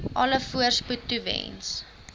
alle voorspoed toewens